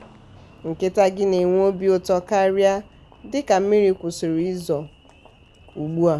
nkịta gị na-enwe obi ụtọ karịa dịka mmiri kwụsịrị izo ugbua.